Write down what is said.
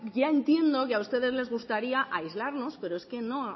ya entiendo que a ustedes les gustaría aislarnos pero es que